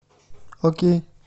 окей